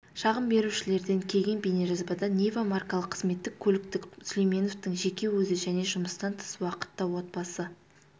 шағым берушілерден келген бейнежазбада нива маркалы қызметтік көлікті сүлейменовтың жеке өзі және жұмыстан тыс уақытта отбасы